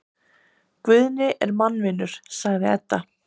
Guðni er mannvinur, sagði Edda.